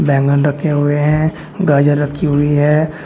बैंगन रखे हुए हैं गाजर रखी हुई है।